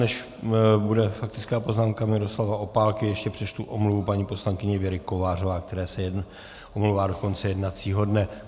Než bude faktická poznámka Miroslava Opálky, ještě přečtu omluvu paní poslankyně Věry Kovářové, která se omlouvá do konce jednacího dne.